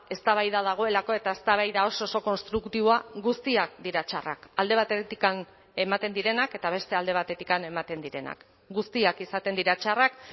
eztabaida dagoelako eta eztabaida oso oso konstruktiboa guztiak dira txarrak alde batetik ematen direnak eta beste alde batetik ematen direnak guztiak izaten dira txarrak